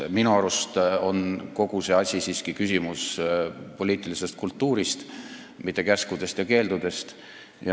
Minu arust on kogu see asi siiski küsimus poliitilisest kultuurist, mitte käskudest ja keeldudest.